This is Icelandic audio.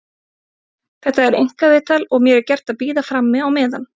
Þetta er einkaviðtal og mér er gert að bíða frammi á meðan.